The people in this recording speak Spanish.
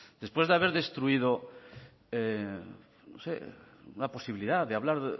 después de haber destruido una posibilidad de hablar